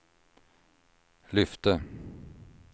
lyfte